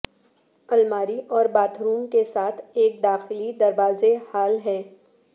الماری اور bathroom کے ساتھ ایک داخلی دروازے ہال ہے